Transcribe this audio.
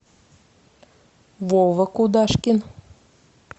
вова кудашкин